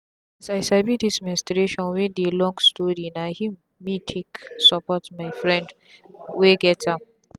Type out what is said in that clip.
as i sabi this menstruation wey dey long storyna him me take support my friend wey get am.